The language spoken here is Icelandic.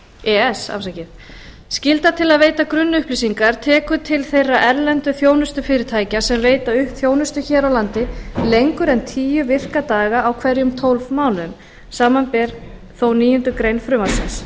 e e s skylda til að veita grunnupplýsingar tekur til þeirra erlendu þjónustufyrirtækja sem veita þjónustu hér á landi lengur en tíu virka daga á hverjum tólf mánuðum samanber þó níundu grein frumvarpsins